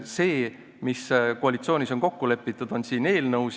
See, mis koalitsioonis on kokku lepitud, on siin eelnõus.